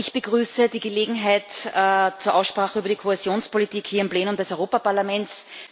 Auch ich begrüße die Gelegenheit zur Aussprache über die Kohäsionspolitik hier im Plenum des Europaparlaments.